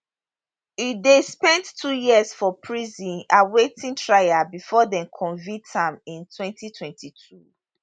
e den spend two years for prison awaiting trial bifor dem convict am in 2022